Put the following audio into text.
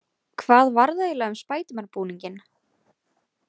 Hvað varð eiginlega um spædermanbúninginn?